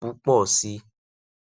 púpọ sí i